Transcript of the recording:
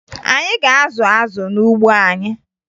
Anyị ga-azụ azụ n'ugbo anyị